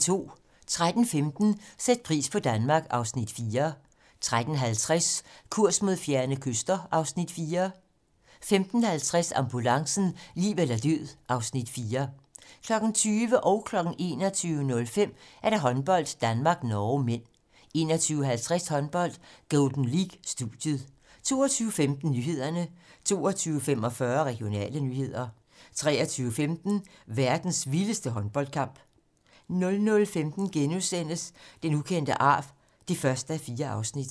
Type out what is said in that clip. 13:15: Sæt pris på Danmark (Afs. 4) 13:50: Kurs mod fjerne kyster (Afs. 4) 15:50: Ambulancen - liv eller død (Afs. 4) 20:00: Håndbold: Danmark-Norge (m) 21:05: Håndbold: Danmark-Norge (m) 21:50: Håndbold: Golden League - studiet 22:15: Nyhederne 22:45: Regionale nyheder 23:15: Verdens vildeste håndboldkamp 00:15: Den ukendte arv (1:4)*